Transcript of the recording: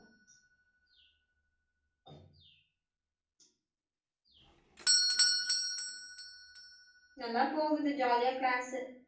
நல்லா போகுது jolly யா class